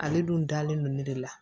Ale dun dalen don ne de la